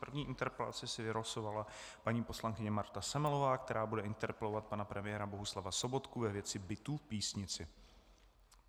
První interpelaci si vylosovala paní poslankyně Marta Semelová, která bude interpelovat pana premiéra Bohuslava Sobotku ve věci bytů v Písnici.